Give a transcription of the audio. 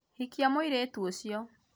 hikia mũirĩtu ucio